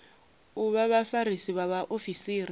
u vha vhafarisi vha vhaofisiri